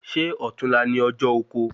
Ṣé ọtún la ni ọjọ oko?